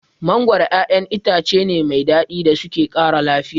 Mangoro ƴaƴan itace ne mai daɗi da suke ƙara lafiya.